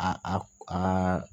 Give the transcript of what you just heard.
A a